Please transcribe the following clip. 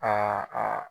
Aa aa